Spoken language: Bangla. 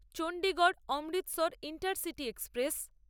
Chandigarh Amritsar intercity express